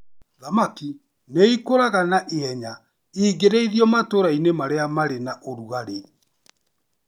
Thamaki nĩ ikũraga naihenya ingĩrĩithĩrio matũũra-inĩ marĩa marĩ na ũrugarĩ.